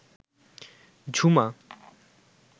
Jhuma